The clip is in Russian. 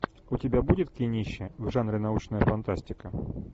у тебя будет кинище в жанре научная фантастика